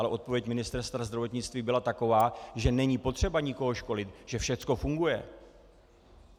Ale odpověď Ministerstva zdravotnictví byla taková, že není potřeba nikoho školit, že všechno funguje.